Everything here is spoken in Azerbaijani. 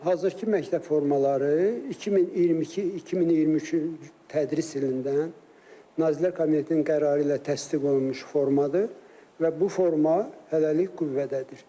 Hazırki məktəb formaları 2022-2023-cü tədris ilindən Nazirlər Kabinetinin qərarı ilə təsdiq olunmuş formadır və bu forma hələlik qüvvədədir.